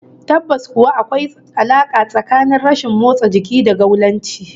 Tabbas kuwa, akwai alaka tsakanin rashin motsa jiki da gaulanci